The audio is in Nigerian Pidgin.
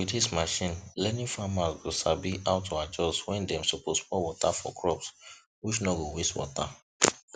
with this machine learningfarmers go sabi how to adjust when dem suppose pour water for crop which no go waste water